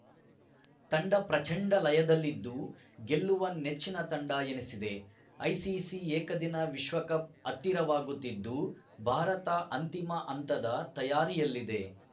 ತಂಡ ಪ್ರಚಂಡ ಲಯದಲ್ಲಿದ್ದು ಗೆಲ್ಲುವ ನೆಚ್ಚಿನ ತಂಡ ಎನಿಸಿದೆ ಐಸಿಸಿ ಏಕದಿನ ವಿಶ್ವಕಪ್‌ ಹತ್ತಿರವಾಗುತ್ತಿದ್ದು ಭಾರತ ಅಂತಿಮ ಹಂತದ ತಯಾರಿಯಲ್ಲಿದೆ